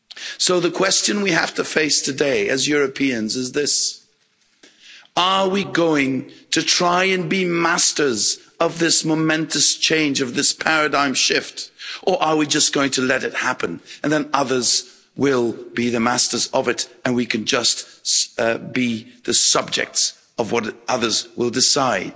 So the question we have to face today as Europeans is this are we going to try and be masters of this momentous change, of this paradigm shift, or are we just going to let it happen, and then others will be the masters of it and we can just be the subjects of what others will decide?